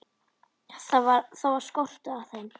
Það var skortur á þeim.